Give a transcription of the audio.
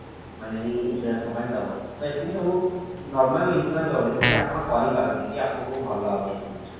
ମାନେ insurance company ଦବ ତ ଏତିକି ସବୁ normal insurance ରହୁଛି ଯୋଉଟା କି ଆପଣ କରି ପାରନ୍ତି କି ଆପଣଙ୍କୁ ଭଲ ହବ ଏଇ ସବୁ ଜିନିଷ